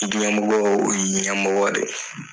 I ɲɛmɔgɔ u y'i ɲɛmɔgɔ de ye.